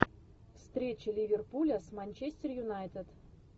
встреча ливерпуля с манчестер юнайтед